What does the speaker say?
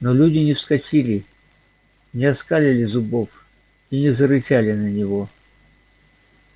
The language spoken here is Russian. но люди не вскочили не оскалили зубов и не зарычали на него